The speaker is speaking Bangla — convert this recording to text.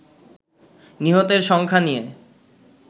নিহতের সংখ্যা নিয়ে